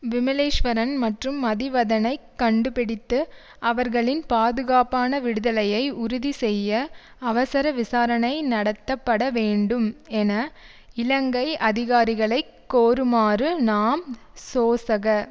விமலேஸ்வரன் மற்றும் மதிவதனைக் கண்டுபிடித்து அவர்களின் பாதுகாப்பான விடுதலையை உறுதி செய்ய அவசர விசாரணை நடத்தப்பட வேண்டும் என இலங்கை அதிகாரிகளை கோருமாறு நாம் சோசக